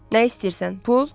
Nə istəyirsən, pul?